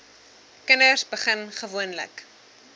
kinders begin gewoonlik